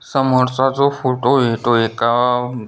समोरचा जो फोटो ये तो एका--